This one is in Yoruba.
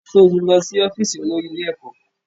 Sọ ti lọ sí ọ́fíìsì olórí ilé ẹ̀kọ́?